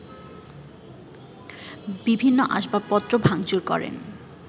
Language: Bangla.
বিভিন্ন আসবাবপত্র ভাঙচুর করেন